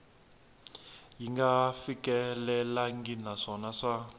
yi nga fikelelangi naswona swa